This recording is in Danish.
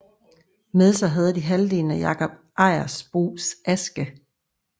Med sig havde de halvdelen af Jakob Ejersbos aske